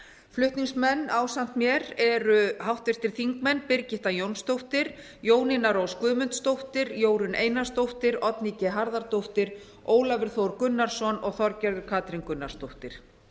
flutningsmenn ásamt mér eru háttvirtir þingmenn birgitta jónsdóttir jónína rós guðmundsdóttir jórunn einarsdóttir oddný g harðardóttir ólafur þór gunnarsson og þorgerður k gunnarsdóttir